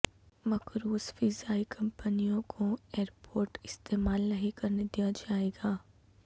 مقروض فضائی کمپنیوں کو ایئرپورٹ استعمال نہیں کرنے دیاجائے گا